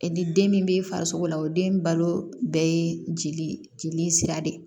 ni den min bɛ farisogo la o den balo bɛɛ ye jeli jeli sira de ye